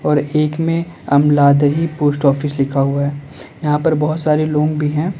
और एक में अमलादही पोस्ट ऑफिस लिखा हुआ है यहां पर बहुत सारे लोग भी हैं।